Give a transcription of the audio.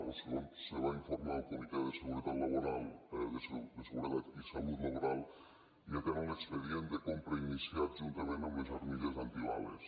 o segons se va informar al comitè de seguretat i salut laboral ja tenen l’expedient de compra iniciat juntament amb les armilles antibales